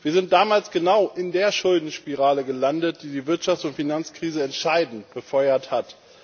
Wir sind damals genau in der Schuldenspirale gelandet, die die Wirtschafts und Finanzkrise entscheidend befeuert hat.